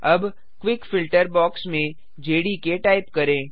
अब quick filter box में JDK type करें